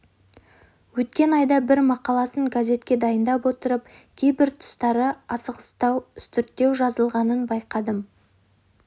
өткен айда бір мақаласын газетке дайындап отырып кейбір тұстары асығыстау үстірттеу жазылғанын байқадым